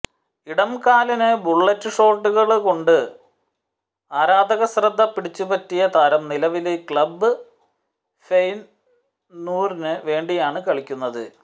ഇടംകാലന് bullet ഷോട്ടുകള്കൊണ്ട് ആരാധക ശ്രദ്ധ പിടിച്ച് പറ്റിയ താരം നിലവില് ക്ലബ് ഫെയനൂര്ദിനു വേണ്ടിയാണ് കളിക്കുന്നത്